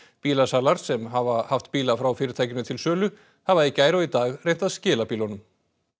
bílasalar sem hafa haft bíla frá fyrirtækinu til sölu hafa í gær og í dag reynt að skila bílunum